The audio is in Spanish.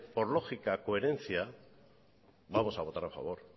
por lógica y coherencia vamos a votar a favor